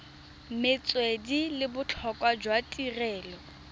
metswedi le botlhokwa jwa tirelo